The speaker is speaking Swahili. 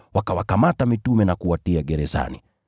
Wakawakamata mitume na kuwatia gerezani.